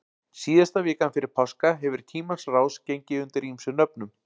síðasta vikan fyrir páska hefur í tímans rás gengið undir ýmsum nöfnum